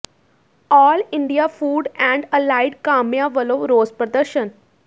all India food and allied ਕਾਮਿਆਂ ਵੱਲੋਂ ਰੋਸ ਪ੍ਰਦਰਸ਼ਨ